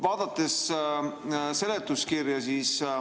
Vaatame seletuskirja.